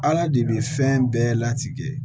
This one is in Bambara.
Ala de bɛ fɛn bɛɛ latigɛ